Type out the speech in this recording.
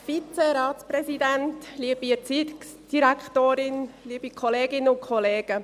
Ja, ich bin hier – Sie kennen diesen kleinen Job früh am Morgen.